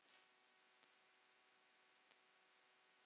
Hann var okkur afar kær.